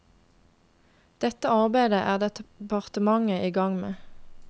Dette arbeidet er departementet i gang med.